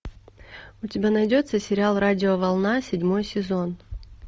у тебя найдется сериал радиоволна седьмой сезон